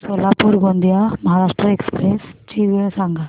Solapur Gondia Maharashtra express ची वेळ सांगा